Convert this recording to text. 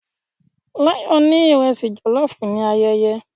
Layo ni iresi jollof ni ayẹyẹ